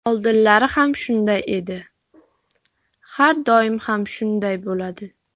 Oldinlari ham shunday edi, har doim ham shunday bo‘ladi.